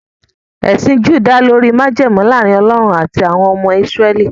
Ẹsìn Júù dá lórí májẹ̀mú láàrin Ọlọ́run àti àwọn ọmọ Ísírẹ́lì